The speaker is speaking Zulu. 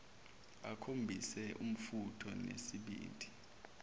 akhombise umfutho nesibindi